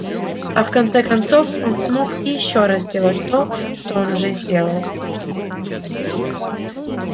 а в конце концов он мог и ещё раз сделать то что он уже сделал